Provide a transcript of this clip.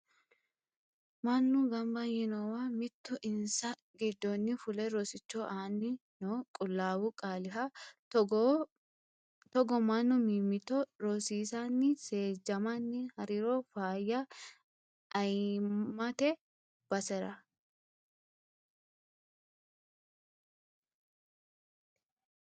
Mannu gamba yiinowa mitu insa giddoni fule rosicho aani no qulaawu qaaliha ,togo mannu mimmitto rosiisani seejjamani hariro faayya ayanamite basera.